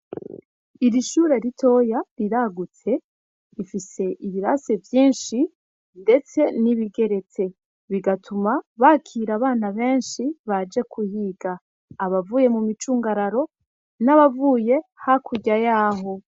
Iri shure ritoya riragutse rifise ibirase vyinshi ndetse n'ibigeretse. Bigatuma bakira abana benshi baje kuhiga. Abavuye mu micungararo n'abavuye hakurya yaho.